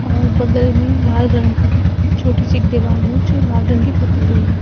और बगल में लाल रंग का छोटी सी एक दीवाल है जो लाल रंग की पुती हुई है।